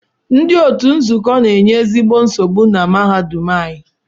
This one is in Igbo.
Ndị otu nzuzo na-enye oké nsogbu na mahadum anyị